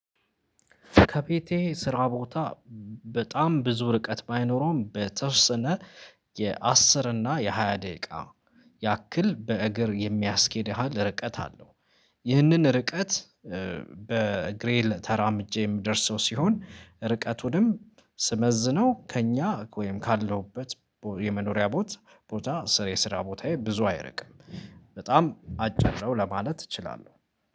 ከቤቴ ስራ ቦታ በጣም ብዙ ርቀት ባይኖረውም በተወሰነ የአስር እና የሃያ ደቂቃ ያክል በእግር የሚያስኬድሃል ርቀት አለው። ይህንን ርቀት በእግሬም ተራምጀ የምደርሰው ሲሆን ርቀቱንም ስመዝነው ከእኛ ወይም ካለሁበት የመኖሪያ ቦታ ስራ የስራ ቦታዬ ብዙ አይርቅም። በጣም አጫጭረው ለማለት እችላለሁ